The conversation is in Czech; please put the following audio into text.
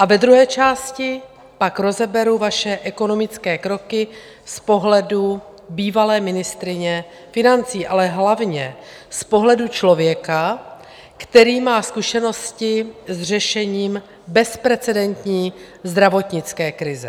A ve druhé části pak rozeberu vaše ekonomické kroky z pohledu bývalé ministryně financí, ale hlavně z pohledu člověka, který má zkušenosti s řešením bezprecedentní zdravotnické krize.